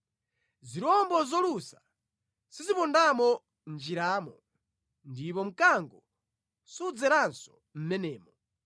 Zirombo zolusa sizipondamo mʼnjiramo, ndipo mkango sudzeranso mʼmenemo.